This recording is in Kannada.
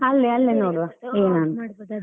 ಅಲ್ಲೆ ಅಲ್ಲೇ ನೋಡುವ .